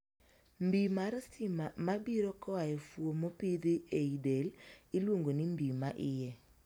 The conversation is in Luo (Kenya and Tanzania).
Mbii mar stima ma biro koa e fuon mopidhi ei del iluongo ni mbii ma iye.